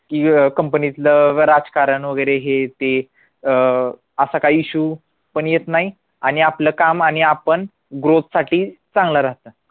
की अं company तलं राजकारण वगैरे हे ते अह असा काही issue पण येत नाही आणि आपलं काम आणि आपण growth साठी चांगलं राहतं